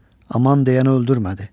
Aman deyəni öldürmədi.